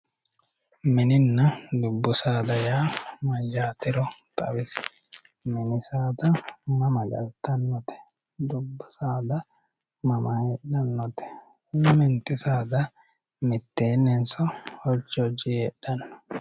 Mininna dubu saada yaa mayatero xawisi, mini saada mama galitanote dubu saada mama heedhanote, lamenti saada mitteeni'nso hoji hojiyi heedhanno